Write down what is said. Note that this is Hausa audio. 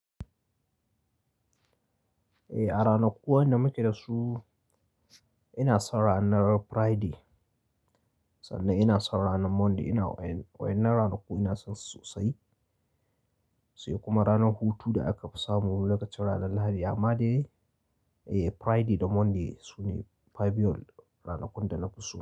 Eh a ranakuwa da muke dasu ina son ranar Friday sannan ina son ranar Monday. Ina wa'inan ranaku ina son su sosai. Sai kuma ranar hutu da aka fi samu lokacin ranar Lahadi. Amma dai Friday da Monday sune fabiyol ranakun da nafi so.